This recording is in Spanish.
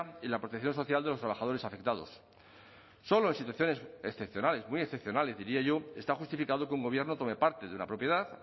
y la protección social de los trabajadores afectados solo en situaciones excepcionales muy excepcionales diría yo está justificado que un gobierno tome parte de una propiedad